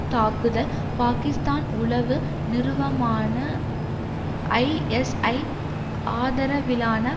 தாக்குதல் பாக்கிஸ்தான் உளவு நிறுவமான ஐஎஸ்ஐ ஆதரவிலான